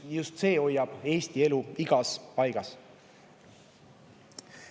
Just see hoiab elu igas Eesti paigas.